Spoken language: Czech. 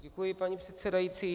Děkuji, paní předsedající.